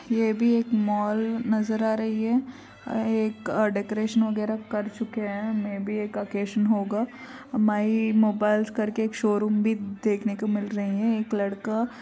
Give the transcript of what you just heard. यह भी एक मॉल नजर आ रही है। एक डेकोरेशन वगैरह कर चुके हैं। मेय बी एक अकैशन होगा। माय मोबाइल कर के एक शोरुम भी देखने को मिल रहे हैं। एक लड़का --